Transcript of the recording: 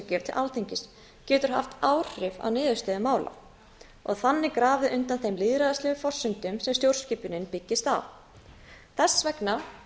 til alþingis geti haft áhrif á niðurstöðu mála og þannig grafið undan þeim lýðræðislegu forsendum sem stjórnskipunin byggist á þess vegna